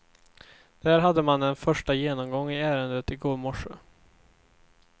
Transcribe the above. Där hade man en första genomgång i ärendet i går morse.